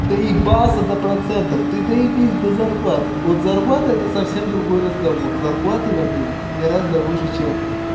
доебался до процентов ты доебись до зарплаты вот зарплата это совсем другой разговор зарплаты в америке гораздо выше чем